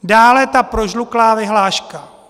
Dále ta prožluklá vyhláška.